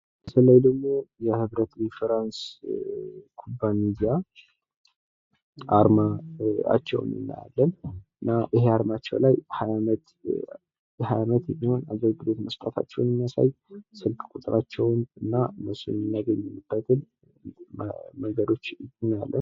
እዚህ ምስል ላይ ደሞ የህብረት ኢንሹራንስ ኩባንያ አርማቸውን እናያለን። እና ይህ አርማቸው ላይ 20 አመት የሚሆን አገልግሎት መስጠታቸውን የሚያሳይ ስልክ ቁጥራቸውን እና እነሱን የምናገኝባቸውን መንገዶች እናገኛለን።